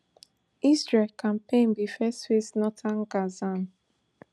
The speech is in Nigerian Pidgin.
israel campaign bin first face northern gaza